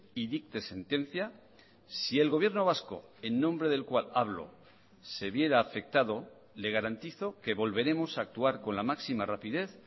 y dicte sentencia si el gobierno vasco en nombre del cual hablo se viera afectado le garantizo que volveremos a actuar con la máxima rapidez